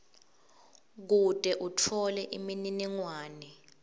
kute utfole imininingwane